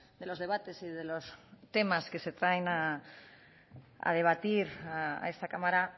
de los debates y de los temas que se traen a debatir a esta cámara